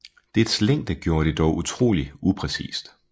Dets længde gjorde det dog utrolig upræcist